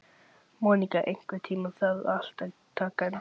Móníka, einhvern tímann þarf allt að taka enda.